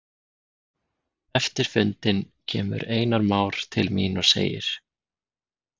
Eftir fundinn kemur Einar Már til mín og segir